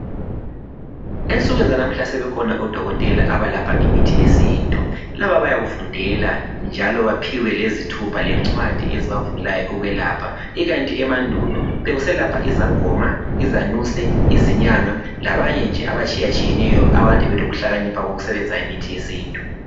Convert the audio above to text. Ensukwini zanamuhla sebekhona odokotela abalapha ngemithi yesintu. Laba bayakufundela njalo baphiwe lezithupha lencwadi ezibavumelayo ukwelapha ikanti emandulo bekuselapha izangoma ,izanusi, izinyanga labanye nje abatshiyatshiyeneyo abakade belokuhlakanipha kokusebenzisa imithi yesintu.